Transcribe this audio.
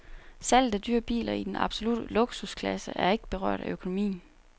Salget af dyre biler i den absolutte luksusklasse er ikke berørt af økonomien.